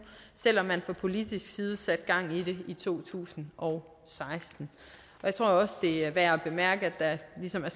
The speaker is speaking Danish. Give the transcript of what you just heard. selv om man fra politisk side satte gang i det i to tusind og seksten jeg tror også at det er værd at bemærke at der ligesom har